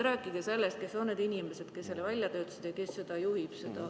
Rääkige sellest, kes on need inimesed, kes selle kava välja töötasid, ja kes seda juhib.